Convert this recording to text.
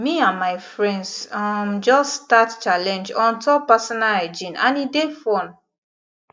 me and my friends um just start challenge on top personal hygiene and e dey fun